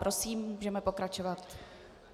Prosím, můžeme pokračovat.